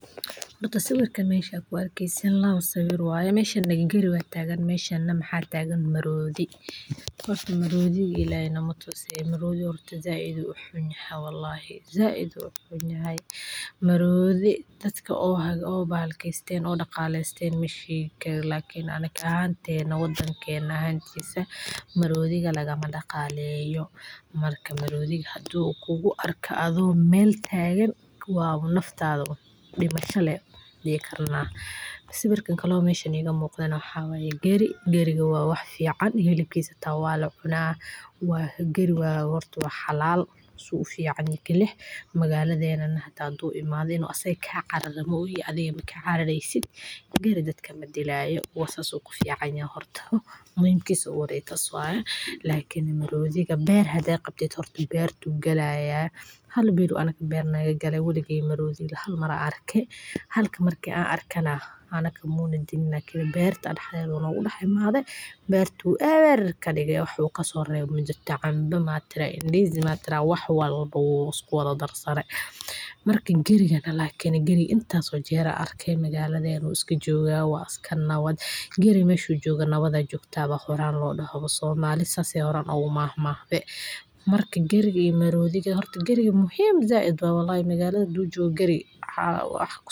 Waa mid ka mid ah goobaha ugu caansan ee dalxiiska iyo xayawaanka dunida, gaar ahaan marka la eego bogorta sare oo ah meel uu cirku ku soo baxo oo ah mid qurux badan oo laga arki karo halkaas, halkaas oo ay ku nool yihiin xayawaanka duurka sida maroodiga, libaaxyada, shabeelada, dawalada, wiyilada, iyo noocyo kale oo badan oo duurjoogto ah, sidaas awgeed waa goob ay dadka soo booqdaan iyagoo raadinaya aragtiyo qurux badan oo dabiici ah iyo waayo-aragnimo kala duwan, gaar ahaan marka ay timaado xilliga da’da cusub ee xoolaha nool marka ay dhashaan carruurtooda, sidoo kale waa goob taariikhi ah oo ay ku noolaayeen quruun badan ilaa maanta qabiilooyinka reer Maasai oo leh dhaqan iyo hidde-hoosaad ku xidhan duurka iyo xayawaanka.